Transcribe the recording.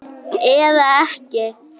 Eða ekki?